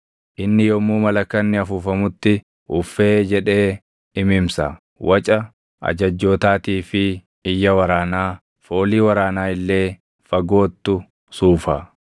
Inni yommuu malakanni afuufamutti ‘Uffee’ jedhee imimsa; waca ajajjootaatii fi iyya waraanaa, foolii waraanaa illee fagoottu suufa.